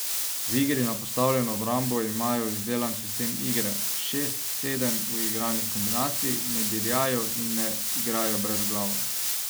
V igri na postavljeno obrambo imajo izdelan sistem igre, šest, sedem uigranih kombinacij, ne dirjajo in ne igrajo brezglavo.